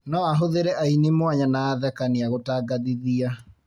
No ahũthĩre aini mwanya na athekania gũtangathithia